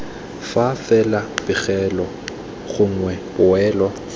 fa fela pegelo gongwe poelo